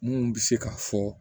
Mun bɛ se ka fɔ